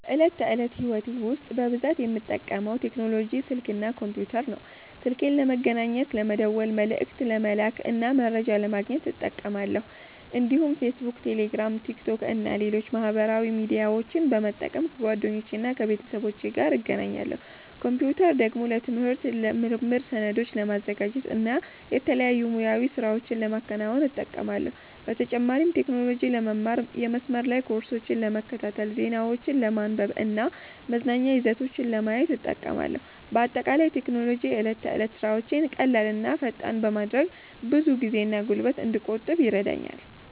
በዕለት ተዕለት ሕይወቴ ውስጥ በብዛት የምጠቀመው ቴክኖሎጂ ስልክ እና ኮምፒተር ነው። ስልኬን ለመገናኘት፣ ለመደወል፣ መልዕክት ለመላክ እና መረጃ ለማግኘት እጠቀማለሁ። እንዲሁም ፌስቡክ፣ ቴሌግራም፣ ቲክቶክ እና ሌሎች ማህበራዊ ሚዲያዎችን በመጠቀም ከጓደኞቼና ከቤተሰቦቼ ጋር እገናኛለሁ። ኮምፒተርን ደግሞ ለትምህርት፣ ለምርምር፣ ሰነዶችን ለማዘጋጀት እና የተለያዩ ሙያዊ ሥራዎችን ለማከናወን እጠቀማለሁ። በተጨማሪም ቴክኖሎጂን ለመማር፣ የመስመር ላይ ኮርሶችን ለመከታተል፣ ዜናዎችን ለማንበብ እና መዝናኛ ይዘቶችን ለማየት እጠቀማለሁ። በአጠቃላይ ቴክኖሎጂ የዕለት ተዕለት ሥራዎቼን ቀላል እና ፈጣን በማድረግ ብዙ ጊዜና ጉልበት እንድቆጥብ ይረዳኛል።